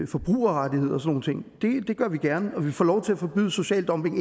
forbrugerrettigheder og nogle ting det gør vi gerne og at vi får lov til at forbyde social dumping